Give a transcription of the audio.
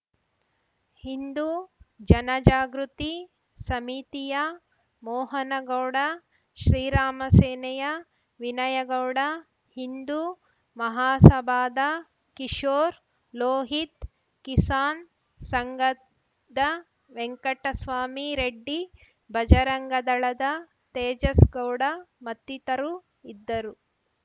ಹಿಂದೂ ಜನಜಾಗೃತಿ ಸಮಿತಿಯ ಮೋಹನಗೌಡ ಶ್ರೀರಾಮಸೇನೆಯ ವಿನಯಗೌಡ ಹಿಂದೂ ಮಹಾಸಭಾದ ಕಿಶೋರ್‌ ಲೋಹಿತ್‌ ಕಿಸಾನ್‌ ಸಂಘದ ವೆಂಕಟಸ್ವಾಮಿ ರೆಡ್ಡಿ ಬಜರಂಗದಳದ ತೇಜಸ್‌ಗೌಡ ಮತ್ತಿತರು ಇದ್ದರು